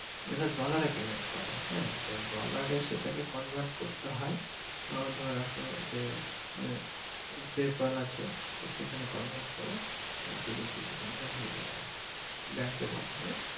এরা Dollar payment করে হ্যা তো dollar এ সেটাকে convert করতে হয় আহ ধরে রাখো যে আহ PayPal আছে তো সেখানে convert করে আরকি রুপিসে convert হয়ে যায় আরকি bank এর মাধ্যমে।